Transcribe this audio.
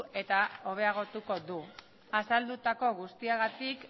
eta hobeagotuko du azaldutako guztiagatik